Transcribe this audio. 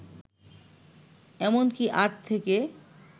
এমনকী আট থেকে